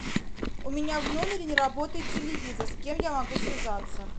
у меня в номере не работает телевизор с кем я могу связаться